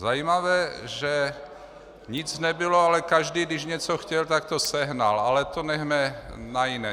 Zajímavé, že nic nebylo, ale každý, když něco chtěl, tak to sehnal, ale to nechme na jiné.